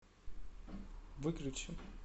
выключи